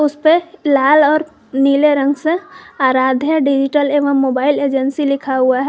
इस पे लाल और नीले रंग से आराध्या डिजिटल एवं मोबाइल एजेंसी लिखा हुआ ह--